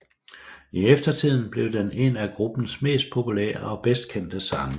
I eftertiden blev den en af gruppens mest populære og bedst kendte sange